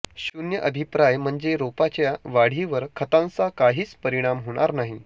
शून्य अभिप्राय म्हणजे रोपाच्या वाढीवर खतांचा काहीच परिणाम होणार नाही